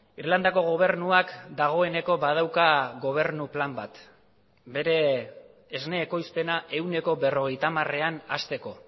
irlandako gobernuak dagoeneko badauka gobernu plan bat bere esne ekoizpena ehuneko berrogeita hamarean hasteko